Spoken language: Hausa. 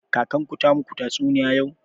Kakan ku ta maku tatsuniya yau?